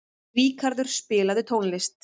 Ríkarður, spilaðu tónlist.